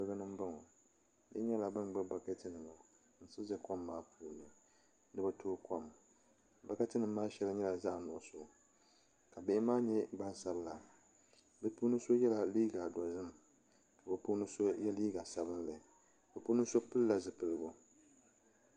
Kuligi ni n boŋo bihi nyɛla bin gbubi bokati nima n siɣi ʒɛ kom maa puuni ni bi tooi kom bokati nim maa shɛŋa nyɛla zaɣ nuɣso ka bihi maa nyɛ gbansabila bi puuni so yɛla liiga dozim ka bi puuni so yɛ liiga sabinli bi puuni so pilila zipiligu